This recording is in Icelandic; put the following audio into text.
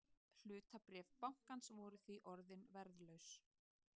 Hlutabréf bankans voru því orðin verðlaus